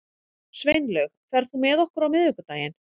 Sveinlaug, ferð þú með okkur á miðvikudaginn?